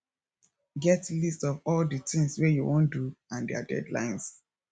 get list of all di things wey you wan do and their deadlines